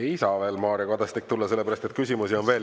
Ei saa veel Mario Kadastik tulla, sellepärast et küsimusi on veel.